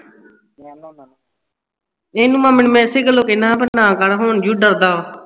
ਐਨੂੰ ਮਾਮੇ ਨੂੰ ਇਸੇ ਗੱਲੋਂ ਕਿਹਨਾਂ ਸਾਹ ਨਾ ਕਰ ਹੁਣ ਜੋ ਡਰਦਾ ਆ